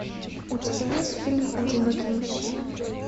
у тебя есть фильм одинокий мужчина